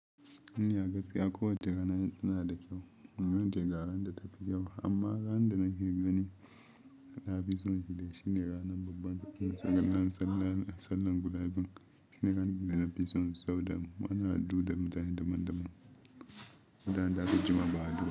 Ina gaskiya kowacce rana tana da kyau, inda wani teka ran da tafi kyau. Amma ran da na hira da ni, na fi so shi ne ranar babban sallah na sallar gulabin. Shi ne ran da na fi so saboda muna hadu da mutane daban daban mutanen da aka jima ba, a hadu ba.